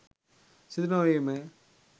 සිදු නොවීමය